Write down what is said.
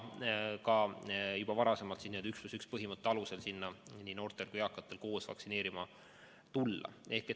Juba varem oli 1 + 1 põhimõtte alusel seal ka noortel ja eakatel koos vaktsineerima tulla.